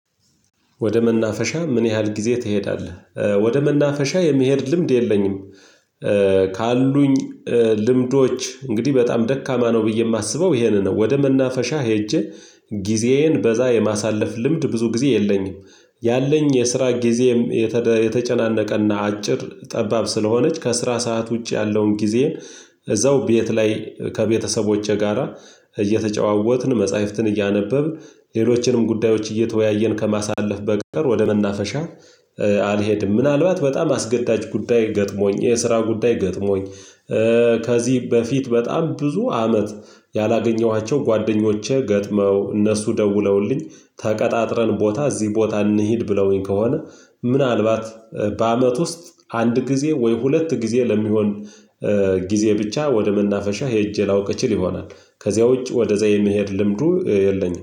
"ወደ መናፈሻ ምን ያህል ጊዜ ትሄዳለህ?" ወደ መናፈሻ የመሄድ ልምድ የለኝም። ካሉኝ ልምዶች እንግዲህ በጣም ደካማ ነው ብዬ የማስበው ይሄንን ነው። ወደ መናፈሻ ሄጄ ጊዜዬን በዛ የማሳለፍ ልምድ ብዙ ጊዜ የለኝም። ያለኝ የስራ ጊዜም የተደ የተጨናነቀና አጭር ጠባብ ስለሆነች ከስራ ሰዓት ውጪ ያለውን ጊዜዬን እዛው ቤት ላይ ከቤተሰቦቼ ጋራ እየተጨዋወትን መጽሐፍትን እያነበብን ሌሎችንም ጉዳዮች እየተወያየን ከማሳለፍ በቀር ወደ መናፈሻ አልሄድም። ምናልባት በጣም አስገዳጅ ጉዳይ ገጥሞኝ የስራ ጉዳይ ገጥሞኝ ከዚህ በፊት በጣም ብዙ አመት ያላገኘኋቸው ጓደኞቼ ገጥመው እነሱ ደውለውልኝ ተቀጣጥረን ቦታ እዚህ ቦታ እንሂድ ብለውኝ ከሆነ፤ ምናልባት በአመት ውስጥ አንድ ጊዜ ወይ ሁለት ጊዜ ለሚሆን ጊዜ ብቻ ወደ መናፈሻ ሄጄ ላውቅ እችል ይሆናል። ከዚያ ውጭ ወደዛ የመሄድ ልምዱ የለኝም።